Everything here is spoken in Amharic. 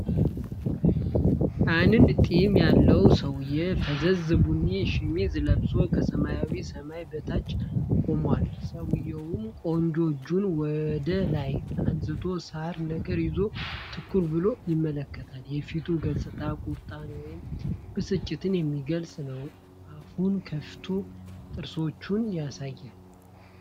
አንድ ጢም ያለው ሰውዬ ፈዛዛ ቡኒ ሸሚዝ ለብሶ ከሰማያዊ ሰማይ በታች ቆሟል። ሰውዬው ቀኝ እጁን ወደ ላይ አንስቶ ሳር ነገር ይዞ ትኩር ብሎ ይመለከታል። የፊቱ ገፅታ ቁጣንና ወይም ብስጭትን የሚገልጽ ነው፤ አፉን ከፍቶ ጥርሶችን ያሳያል።